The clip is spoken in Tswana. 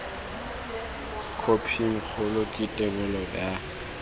khophing kgolo le thebolo ya